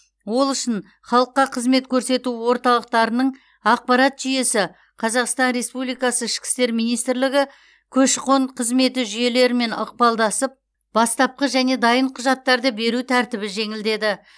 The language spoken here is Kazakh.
ол үшін халыққа қызмет көрсету орталықтарының ақпарат жүйесі қазақстан республикасы ішкі істер министрлігі көші қон қызметі жүйелерімен ықпалдасып бастапқы және дайын құжаттарды беру тәртібі жеңілдеді